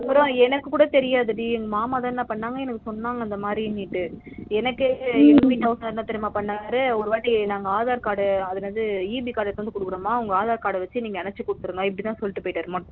அதுகப்புறம் எனக்கு கூட தெரியாது டி எங்க மாமா தா என்ன பண்ணாங்க எனக்கு சொன்னாங்க இந்த மாதிரின்டு எனகே எங்க வீட்டு house owner என்ன தெரியுமாபண்ணாரு ஒருவாட்டி நாங்க aadhar card அதுல இருந்து EB card எடுத்துட்டு வந்து குடுக்குறமா உங்க aadhar card வச்சி எனச்சி குடுத்துருங்க இப்டிதா சொல்லிட்டு போய்ட்டாரு